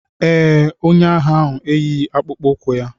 Ee, onye agha ahụ eyighị akpụkpọ ụkwụ ya.